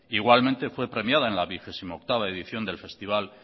igualmente fue premiada en la vigésimo octava edición del festival